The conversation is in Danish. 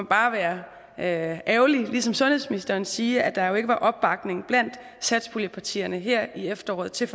bare være ærgerlig ligesom sundhedsministeren og sige at der jo ikke var opbakning blandt satspuljepartierne i forhandlingerne her i efteråret til